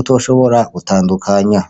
utoshobora gutandukanya.